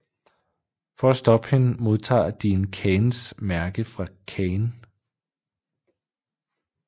For at stoppe hende modtager Dean Kains mærke fra Cain